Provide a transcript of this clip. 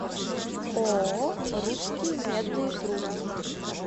ооо русские медные трубы